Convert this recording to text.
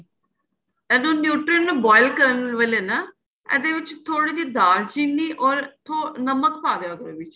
ਇਹਨੂੰ nutri ਨੂੰ boil ਕਰਨ ਵੇਲੇ ਨਾ ਇਹਦੇ ਵਿੱਚ ਥੋੜੀ ਜੀ ਦਾਲ ਚਿੰਨੀ ਔਰ ਥੋੜ ਨਮਕ ਪਾ ਦਿਆਂ ਕਰੋ ਵਿੱਚ